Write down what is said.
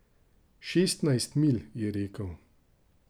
Šestnajst milj, je rekel.